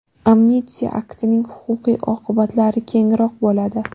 Amnistiya aktining huquqiy oqibatlari kengroq bo‘ladi.